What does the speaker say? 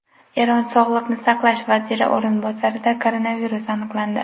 Eron sog‘liqni saqlash vaziri o‘rinbosarida koronavirus aniqlandi.